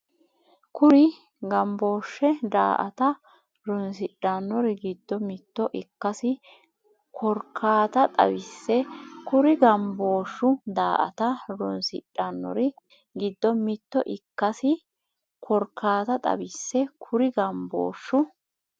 Kuri gambooshshu daa”ata roonsidhannori giddo mitto ikkasi korkaata xawisse Kuri gambooshshu daa”ata roonsidhannori giddo mitto ikkasi korkaata xawisse Kuri gambooshshu.